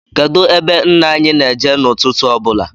Kedụ ebe nna anyị na-eje n' ụtụtụ ọbụla?